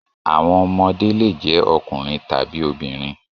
Àwọn ọmọdé le jẹ́ ọkùnrin tàbí obìnrin.